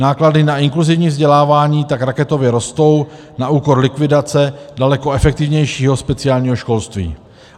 Náklady na inkluzivní vzdělávání tak raketově rostou na úkor likvidace daleko efektivnějšího speciálního školství.